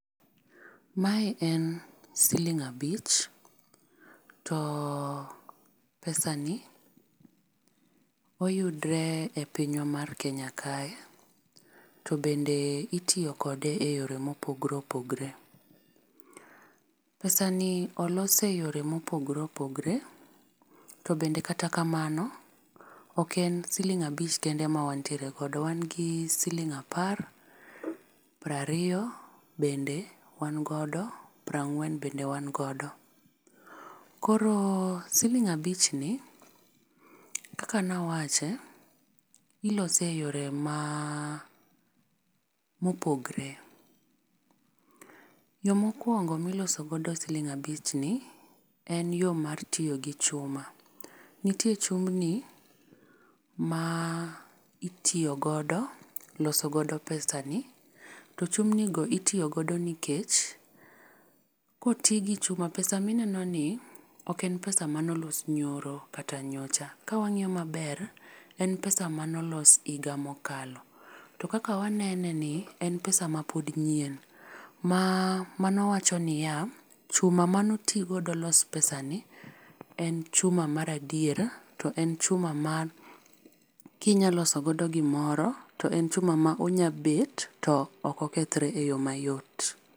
Mae en siling abich. To pesani oyudore e pinywa mar Kenya kae. To bede itiyo kode e yore ma opogore opogore. Pesani olos e yore ma opogore opogore to bende kata kamano, ok en siling abich kende ma wantiere godo. Wan gi siling apar, piero ariyo bende wan godo, piero ang'wen bende wan godo. Koro siling abich ni, kaka nawache, ilose e yore ma mopogore. Yo mokwongo ma iloso godo siling abichni, en yo mar tiyo gi chuma. Nitie chumbni ma itiyo godo loso godo pesani. To chumbni go itiyo godo nikech, koti gi chuma, pesa ninenoni, ok en pesa mane oloso nyoro kata nyocha. Kawang'iyo maber, en pesa mane olos higa mokalo. To kaka waneneni en pesa ma pod nyien. Ma mano wacho niya, chuma mane oti godo loso pesani en chuma mar adier, to en chuma ma kinyalo loso godo gimoro, to en chuma manyalo bet, to ok okethore e yo mayot.